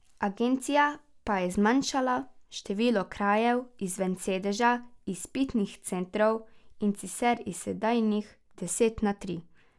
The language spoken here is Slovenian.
Agencija pa je zmanjšala število krajev izven sedeža izpitnih centrov, in sicer iz sedanjih deset na tri.